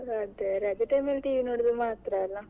ಅದೇ ರಜೆ time ಅಲ್ಲಿ TV ನೋಡುದು ಮಾತ್ರ ಅಲ್ಲ.